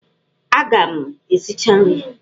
Aga m esicha nri!